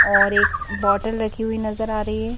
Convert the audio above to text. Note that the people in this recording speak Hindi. और एक बोतल रखी हुई नजर आ रही है।